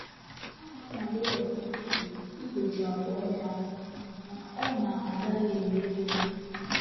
Ọ na-anwale ọtụtụ ugboro igbochi àgwà ọjọọ a, ma ọ na-agaghị emeri ya.